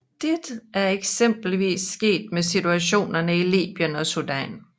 Dette er eksempelvis sket med situationerne i Libyen og Sudan